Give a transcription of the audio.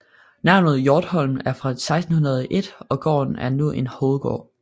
Navnet Hjortholm er fra 1601 og gården er nu en Hovedgård